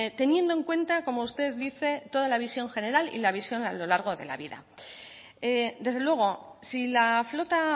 teniendo en cuenta como usted dice toda la visión general y la visión a lo largo de la vida desde luego si la flota